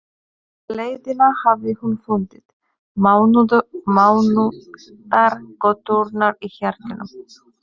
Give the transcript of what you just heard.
Alla leiðina hafði hún fundið mannauðar göturnar í hjartanu.